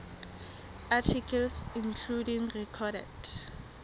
articles including recorded